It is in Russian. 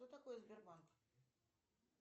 что такое сбербанк